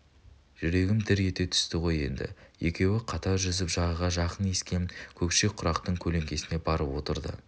жүрегім дір ете түсті ғой енді екеуі қатар жүзіп жағаға жақын ескен көкше құрақтың көлеңкесіне барып отырды